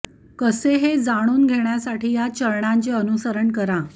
कसे हे जाणून घेण्यासाठी या चरणांचे अनुसरण करा